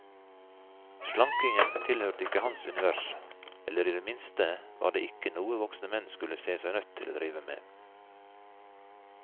Slankingen tilhørte ikke hans univers, eller i det minste var det ikke noe voksne menn skulle se seg nødt til å drive med.